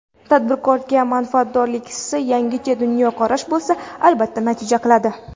Tadbirkorda manfaatdorlik hissi, yangicha dunyoqarash bo‘lsa, albatta natija qiladi.